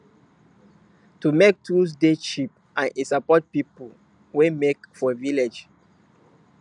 to make tools dey cheap and e support people wey make for villages